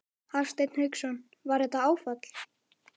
Hafsteinn Hauksson: Var þetta áfall?